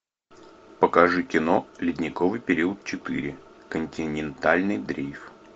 покажи кино ледниковый период четыре континентальный дрейф